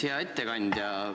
Hea ettekandja!